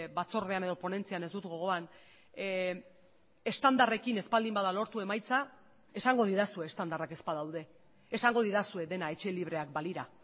batzordean edo ponentzian ez dut gogoan estandarrekin ez baldin bada lortu emaitza esango didazue estandarrak ez badaude esango didazue dena etxe libreak balira